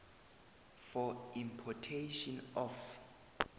for importation of